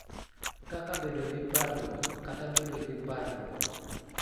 Kaka bedo gi parruok kata bedo gi parruok.